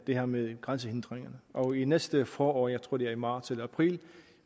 det her med grænsehindringer og til næste forår jeg tror det er i marts eller april